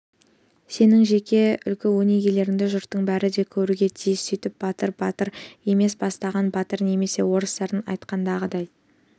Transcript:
сенің жеке үлгі-өнегеңді жұрттың бәрі де көруге тиіс сөйтіп батыр батыр емес бастаған батыр немесе орыстардың айтатынындай